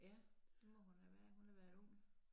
Ja det må hun have været hun har været ung